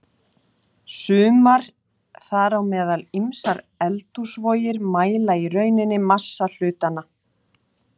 Sumar, þar á meðal ýmsar eldhúsvogir, mæla í rauninni massa hlutanna.